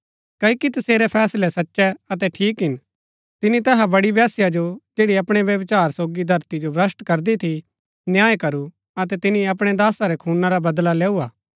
क्ओकि तसेरै फैसलै सचै अतै ठीक हिन तिनी तैहा बड़ी वेश्या जो जैड़ी अपणै व्यभिचार सोगी धरती जो भ्रष्‍ट करदी थी न्याय करू अतै तिनी अपणै दासा रै खूना रा बदला लैऊ हा